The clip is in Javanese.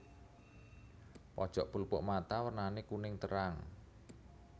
Pojok pelupuk mata wernané kuning terang